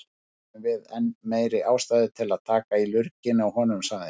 Þá höfum við enn meiri ástæðu til að taka í lurginn á honum, sagði